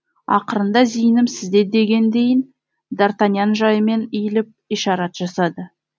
ақырында зейінім сізде дегендейін д артаньян жайымен иіліп ишарат жасады